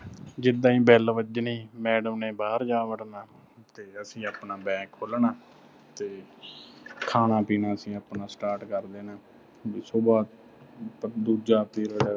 ਜਿੱਦਾਂ ਹੀ bell ਵੱਜਣੀ madam ਨੇ ਬਾਹਰ ਜਾ ਵੜਨਾ ਤੇ ਅਸੀਂ ਆਪਣਾ bah ਖੋਲ੍ਹਣਾ ਤੇ ਖਾਣਾ-ਪੀਣਾ ਅਸੀਂ ਆਪਣਾ start ਕਰ ਦੇਣਾ। ਵੀ ਸੁਬਾਹ ਦੂਜਾ period